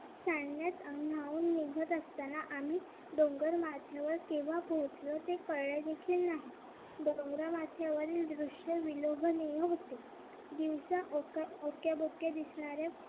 सांगण्यात बोलत असताना आम्ही डोंगर माथ्यावर केव्हा पोहोचलो ते कळलेच नाही डोंगरावरील दृश्य विलोभनीय होते दिवस ओक्या भोक्या दिसणाऱ्या